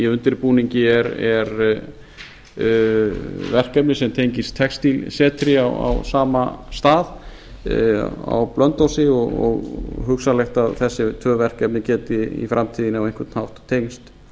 í undirbúningi er verkefni sem tengist textílsetri á sama stað á blönduósi og hugsanlegt að þessi tvö verkefni geti í framtíðinni á einhvern hátt tengst